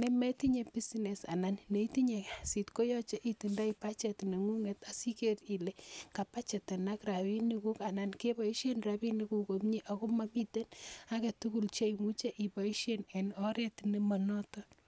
nemetinye business anan neitnye kasit koyoche itindoi budget neng'ung'et asiker ile kabajetenak rapisiek anan keboisien rapinik kuk komie ako momiten aketugul cheimuche iboisien en oret nemonoton